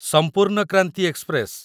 ସମ୍ପୂର୍ଣ୍ଣ କ୍ରାନ୍ତି ଏକ୍ସପ୍ରେସ